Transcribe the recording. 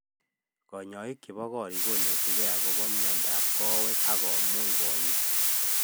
Kanyaik chebo korik konetikei akopa miondap kawek akomuch konya